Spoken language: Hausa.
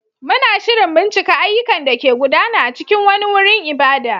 Muna shirin bincika ayyukan da ke gudana a cikin wani wurin ibada.